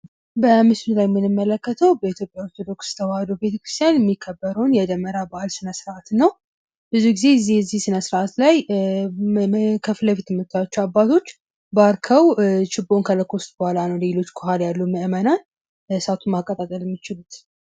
በምስሉ ላይ የምንመለከተው በኢትዮጵያ ኦርቶዶክስ ተዋህዶ ቤተክርስቲያን የሚከበረውን የደመራ በአል ስነስርዓት እና ብዙ ጊዜ የዚህ ስነስርዓት ላይ ከፊት ለፊት የምታዩአቸው አባቶች ባርከው ችቦውን ከለኮሱት በኋላ ነው ከኋላ ያሉት ምዕመናን እሳቱን ማቀጣጠል የሚችሉት።